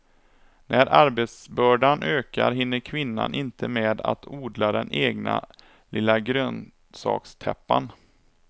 När arbetsbördan ökar hinner kvinnan inte med att odla den egna lilla grönsakstäppan.